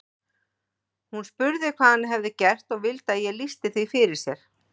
Hún spurði hvað hann hefði gert og vildi að ég lýsti því fyrir sér.